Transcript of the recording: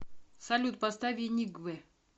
салют поставь эник